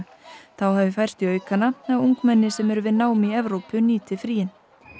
þá hafi færst í aukana að ungmenni sem eru við nám í Evrópu nýti fríin